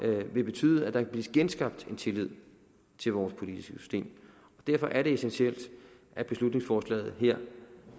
vil betyde at der kan blive genskabt en tillid til vores politiske system og derfor er det essentielt at beslutningsforslaget her